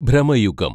Bramayugam